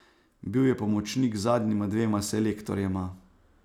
Bil je pomočnik zadnjima dvema selektorjema.